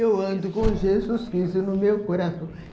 Eu ando com Jesus Cristo no meu coração.